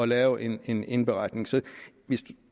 lave en en indberetning så